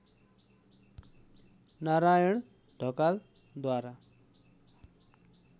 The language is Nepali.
नारायण ढकालद्वारा